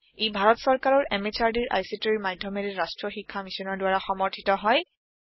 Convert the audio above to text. ই ভাৰত সৰকাৰৰ MHRDৰ ICTৰ মাধ্যমেৰে ৰাষ্ট্ৰীয় শীক্ষা Missionৰ দ্ৱাৰা সমৰ্থিত হয়